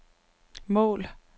mål